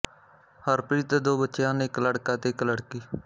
ਹਰਪ੍ਰੀਤ ਦੇ ਦੋ ਬੱਚੇ ਹਨ ਇੱਕ ਲੜਕਾ ਅਤੇ ਇੱਕ ਲੜਕੀ